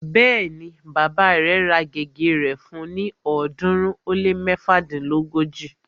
Bẹ́ẹ̀ni, bàbá rẹ̀ ra gègé rẹ̀ fún ni ọ̀ọ́dúnrún ó lé méfadínlógóji